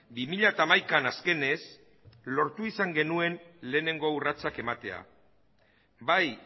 bi mila hamaikaan azkenez lortu ahal izan genuen lehenengo urratsak ematea bai